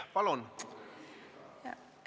Palun!